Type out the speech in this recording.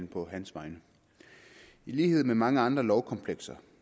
på hans vegne i lighed med mange andre lovkomplekser